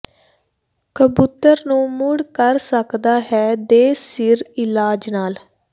ਕਬੂਤਰ ਨੂੰ ਮੁੜ ਕਰ ਸਕਦਾ ਹੈ ਦੇ ਸਿਰ ਇਲਾਜ ਨਾਲ